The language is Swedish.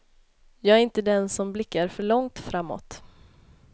Jag är inte den som blickar för långt framåt.